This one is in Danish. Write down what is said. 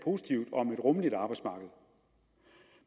positivt om et rummeligt arbejdsmarked